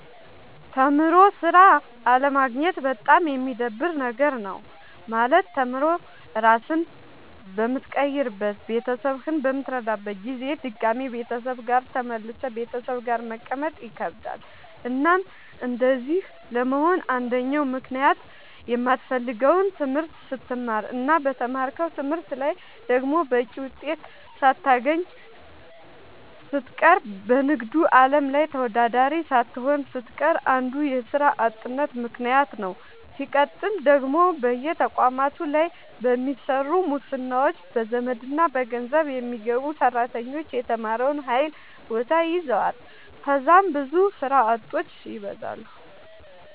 ተምሮ ስራ አለማግኘት በጣም የሚደብር ነገር ነው። ማለት ተምሮ ራስህን በምትቀይርበት ቤተሰብህን በምትረዳበት ጊዜ ድጋሚ ቤተሰብ ጋር ተመልሰህ ቤተሰብ ጋር መቀመጥ ይከብዳል። እናም እንደዚህ ለመሆን አንደኛው ምክንያት የማትፈልገውን ትምህርት ስትማር እና በተማርከው ትምህርት ላይ ደግሞ በቂ ውጤት ሳታገኝ ስትቀር በንግዱ አለም ላይ ተወዳዳሪ ሳትሆን ስትቀር አንዱ የስራ አጥነት ምከንያት ነዉ። ስቀጥል ደግሞ በየተቋማቱ ላይ በሚሰሩ ሙስናዎች፣ በዘመድና በገንዘብ የሚገቡ ሰራተኞች የተማረውን ኃይል ቦታ ይዘዋል ከዛም ብዙ ስራ አጦች ይበዛሉ።